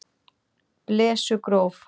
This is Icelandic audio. Blesugróf